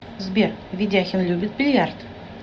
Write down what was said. сбер ведяхин любит бильярд